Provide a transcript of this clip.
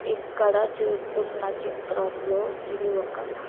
ఇక్కడ చూస్తున్న చిత్రంలో ఇది ఒక--